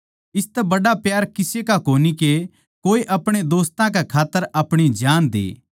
इसतै बड्ड़ा प्यार किसे का कोनी के कोए अपणे दोस्तां कै खात्तर अपणी जान दे